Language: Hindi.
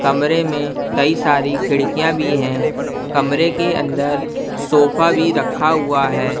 कमरे में कई सारी खिड़कियाँ भी हैं कमरे के अंदर सोफा भी रखा हुआ है।